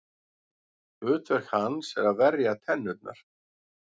Hlutverk hans er að verja tennurnar.